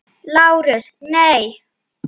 LÁRUS: Nei.